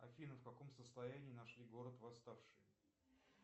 афина в каком состоянии нашли город восставший